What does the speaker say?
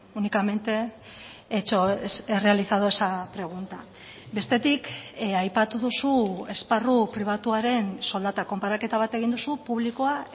únicamente he realizado esa pregunta bestetik aipatu duzu esparru pribatuaren soldata konparaketa bat egin duzu publikoa